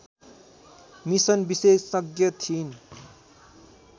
mission विशेषज्ञ थिइन्